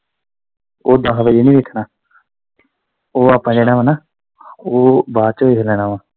ਉਹ ਦਸ ਵਜੇ ਨੀ ਵੇਖਣਾ ਉਹ ਆਪਾਂ ਜਿਹੜਾ ਵਾ ਨਾ ਉਹ ਬਾਅਦ ਚ ਵੇਖ ਲੈਣਾ ਵਾ।